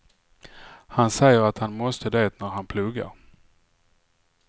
Han säger att han måste det när han pluggar.